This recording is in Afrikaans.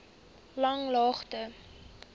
langlaagte